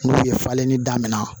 N'u ye falenni daminɛ